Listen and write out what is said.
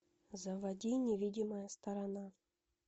заводи невидимая сторона